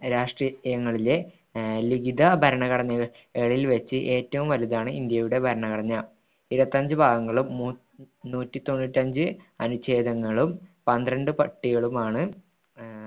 രാഷ്ട്രീയങ്ങളിലെ അഹ് ലിഖിത ഭരണഘടന കളിൽ വെച്ച് ഏറ്റവും വലുതാണ് ഇന്ത്യയുടെ ഭരണഘടന ഇരുപത്ത അഞ്ചു ഭാഗങ്ങളും മൂന്ന് ന്നൂറ്റി തോന്നുറ്റിയഞ്ചു അനുഛേദങ്ങളും പന്ത്രണ്ട് പട്ടികകളുമാണ് അഹ്